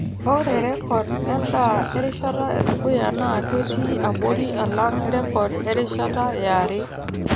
Ore rrekod endaa erishata edukuya naa ketii abori alang rrekod erishata yare.